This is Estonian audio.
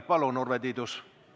Palun, Urve Tiidus!